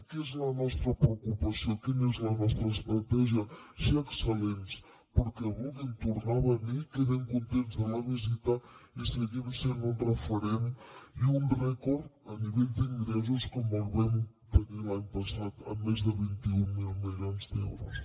què és la nostra preocupació quina és la nostra estratègia ser excel·lents perquè vulguin tornar a venir quedin contents de la visita i seguim sent un referent i un rècord a nivell d’ingressos com el vam tenir l’any passat amb més de vint mil milions d’euros